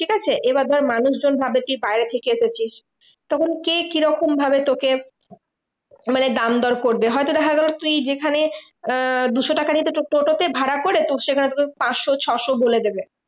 ঠিকাছে? এবার ধর মানুষজন ভাবে তুই বাইরে থেকে এসেছিস, তখন কে কি রকম ভাবে তোকে মানে দাম দর করবে। হয়তো দেখা গেলো তুই যেখানে আহ দুশো টাকা নিতো তোর টোটোতে ভাড়া করে তোর সেখানে তোকে পাঁচশো ছশো বলে দেবে।